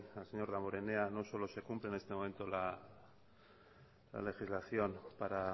al señor damborenea no solo se cumple en este momento la legislación para